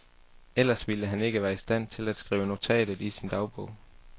Ellers ville han ikke være i stand til at skrive notatet i sin dagbog.